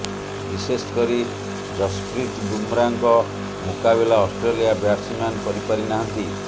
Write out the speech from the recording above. ବିଶେଷକରି ଯଶ୍ରପୀତ ବୁମ୍ରାଙ୍କ ମୁକାବିଲା ଅଷ୍ଟ୍ରେଲିଆ ବ୍ୟାଟ୍ସ ମ୍ୟାନ୍ କରି ପାରିନାହାନ୍ତି